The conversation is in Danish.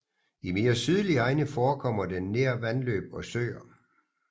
I mere sydlige egne forekommer den nær vandløb og søer